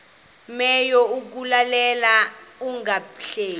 menyo kukuleka ungahleki